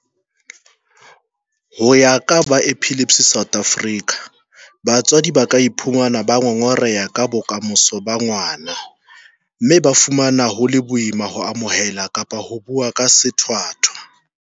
Ho ya ka ba Epilepsy South Africa, batswadi ba ka iphumana ba ngongoreha ka bokamoso ba ngwana mme ba fumana ho le boima ho amohela kapa hona ho bua ka sethwathwa.